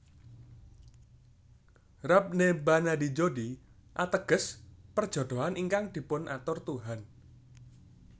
Rab Ne Bana Di Jodi ateges Perjodohan ingkang Dipunatur Tuhan